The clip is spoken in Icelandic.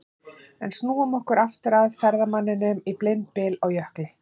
En snúum okkur aftur að ferðamanninum í blindbyl á jökli.